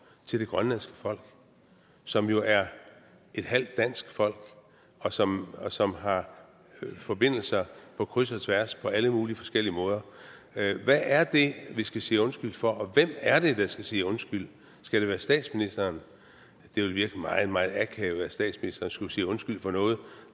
til det grønlandske folk som jo er et halvt dansk folk og som og som har forbindelser på kryds og tværs på alle mulige forskellige måder hvad er det vi skal sige undskyld for og hvem er det der skal sige undskyld skal det være statsministeren det ville virke meget meget akavet at statsministeren skulle sige undskyld for noget